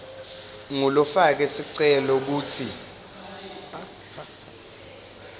ngulofake sicelo kutsi